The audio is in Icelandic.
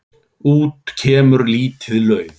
Út kemur lítið lauf.